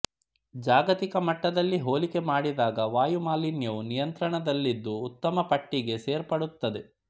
ಜಾಗತಿಕ ಮಟ್ಟದಲ್ಲಿ ಹೋಲಿಕೆ ಮಾಡಿದಾಗ ವಾಯು ಮಾಲಿನ್ಯವು ನಿಯಂತ್ರಣದಲ್ಲಿದ್ದು ಉತ್ತಮ ಪಟ್ಟಿಗೆ ಸೇರ್ಪಡುತ್ತದೆ